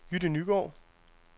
Jytte Nygaard